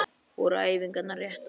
Voru æfingarnar réttar?